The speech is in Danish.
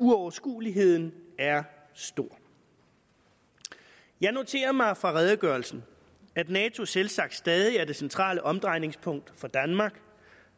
uoverskueligheden er stor jeg noterer mig ud fra redegørelsen at nato selvsagt stadig er det centrale omdrejningspunkt for danmark